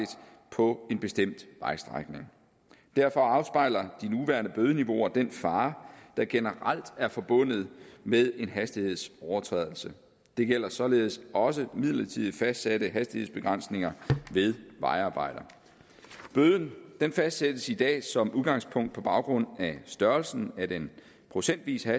på en bestemt vejstrækning derfor afspejler de nuværende bødeniveauer den fare der generelt er forbundet med en hastighedsovertrædelse det gælder således også midlertidigt fastsatte hastighedsbegrænsninger ved vejarbejder bøden fastsættes i dag som udgangspunkt på baggrund af størrelsen af den procentvise